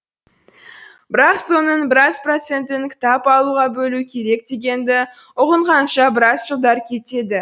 бірақ соның біраз процентін кітап алуға бөлу керек дегенді ұғынғанша біраз жылдар кетеді